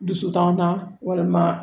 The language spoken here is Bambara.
Dusutan walima